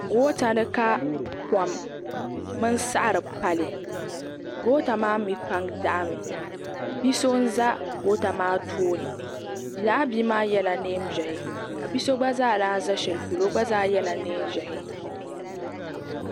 goota ni ka kom mini saɣari pali goota maa mii pam daɣami bia so n ʒɛ goota maa tooni laa bia maa yɛla neen ʒiɛhi ka bia so gba zaa lahi ʒɛ shɛli polo o gba zaa yɛla neen ʒiɛhi